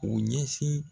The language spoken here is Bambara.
U ɲɛsin